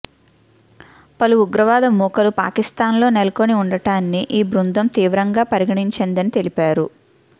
పలు ఉగ్రవాద మూకలు పాకిస్థాన్లో నెలకొని ఉండటాన్ని ఈ బృందం తీవ్రంగా పరిగణించిందని తెలిపారు